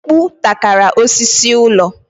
Mkpu takara osisi ụlọ.